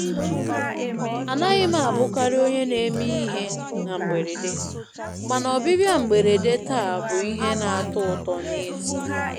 Anaghị m abụkarị onye na-eme ihe na mberede, mana ọbịbịa mberede taa bụ ihe na-atọ ụtọ n'ezie.